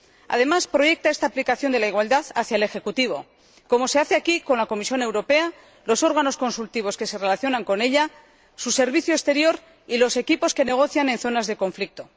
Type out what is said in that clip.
Además, proyecta esta aplicación de la igualdad hacia el ejecutivo, como se hace aquí con la Comisión Europea, los órganos consultivos que se relacionan con ella, su servicio exterior y los equipos que negocian en zonas de conflicto.